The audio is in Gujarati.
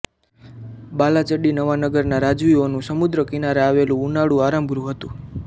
બાલાચડી નવાનગરના રાજવીઓનું સમુદ્ર કિનારે આવેલું ઉનાળુ આરામગૃહ હતું